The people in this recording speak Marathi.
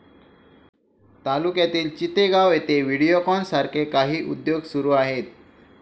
तालुक्यातील चितेगाव येथे व्हिडिओकॉन सारखे काही उद्योग सुरू आहेत